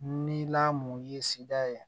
Ni lamɔ ye sida ye